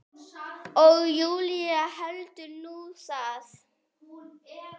Og Júlía heldur nú það!